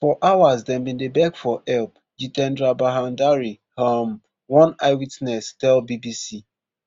for hours dem bin dey beg for help ji ten dra bhandari um one eyewitness tell bbc